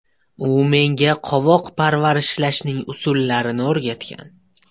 U menga qovoq parvarishlashning usullarini o‘rgatgan.